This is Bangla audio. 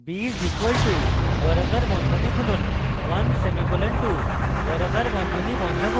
b is equal two বর্গাকার বন্ধনী খুলুন 1 semicolon 2 বর্গাকার বন্ধনী বন্ধ করুন